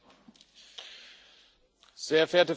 Frau Präsidentin, meine sehr geehrten Damen und Herren!